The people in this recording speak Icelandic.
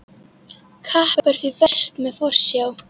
Kapp er því best með forsjá.